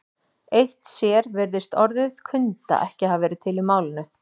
Eitt sér virðist orðið kunda ekki hafa verið til í málinu.